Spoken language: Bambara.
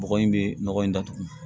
Bɔgɔ in bɛ nɔgɔ in datugu